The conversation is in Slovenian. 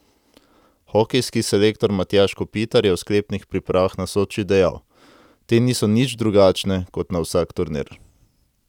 Hokejski selektor Matjaž Kopitar je o sklepnih pripravah na Soči dejal: 'Te niso nič drugačne, kot na vsak turnir.